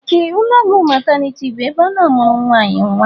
Ee, ụlọọgwụ mataniti bụ ebe a na-amụrụ nwaanyị nnwa